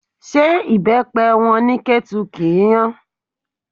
Ṣé ibepe wọn ní Ketu kì í hàn?